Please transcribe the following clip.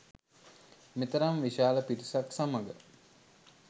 මෙතරම් විශාල පිරිසක් සමග